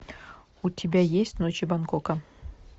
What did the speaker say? у тебя есть ночи бангкока